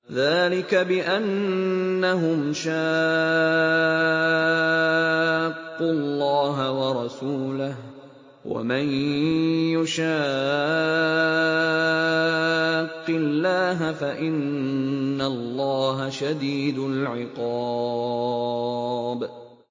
ذَٰلِكَ بِأَنَّهُمْ شَاقُّوا اللَّهَ وَرَسُولَهُ ۖ وَمَن يُشَاقِّ اللَّهَ فَإِنَّ اللَّهَ شَدِيدُ الْعِقَابِ